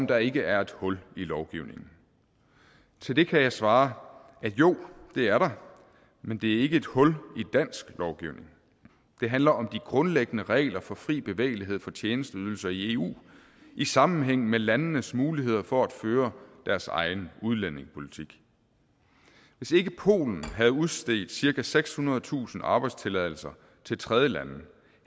der ikke er et hul i lovgivningen til det kan jeg svare jo det er der men det er ikke et hul i dansk lovgivning det handler om de grundlæggende regler for fri bevægelighed for tjenesteydelser i eu i sammenhæng med landenes muligheder for at føre deres egen udlændingepolitik hvis ikke polen havde udstedt cirka sekshundredetusind arbejdstilladelser til tredjelande